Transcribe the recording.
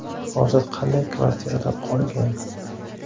Hozir qanday kvartiralar qolgan?